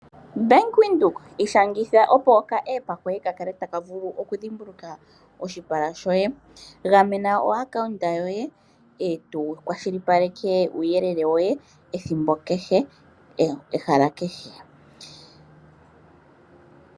Bank Windhoek ishangitha opo okaApp koye ka kale taka vulu okudhimbuluka oshipala shoye. Gamena oakaunda yoye eto kwashilipaleke uuyelele woye ethimbo kehe nehala kehe.